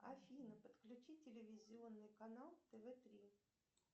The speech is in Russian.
афина подключи телевизионный канал тв три